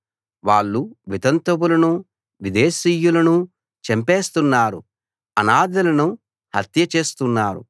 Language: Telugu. వాళ్ళు వితంతువులనూ విదేశీయులనూ చంపేస్తున్నారు అనాథలను హత్య చేస్తున్నారు